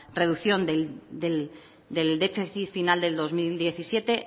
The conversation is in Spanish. reducción del déficit final del dos mil diecisiete